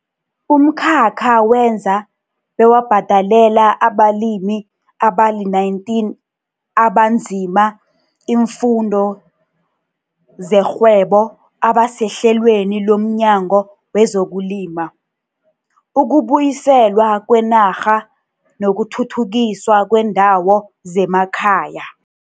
Umkhakha wenza bewabhadalela abalimi abali-19 abanzima iimfundo zerhwebo abasehlelweni lomNyango wezokuLima, ukuBuyiselwa kweNarha nokuThuthukiswa kweeNdawo zemaKhaya.